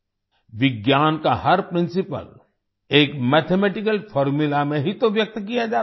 विज्ञान का हर प्रिंसिपल एक मैथमेटिकल फॉर्मुला में ही तो व्यक्त किया जाता है